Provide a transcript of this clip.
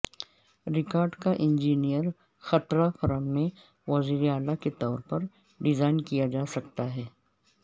record کا engineer خطرہ firm میں وزیراعلی کے طور پر ڈیزائن کیا جا سکتا ہے